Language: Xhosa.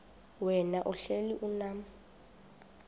wena uhlel unam